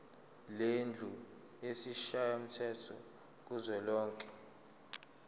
lendlu yesishayamthetho kuzwelonke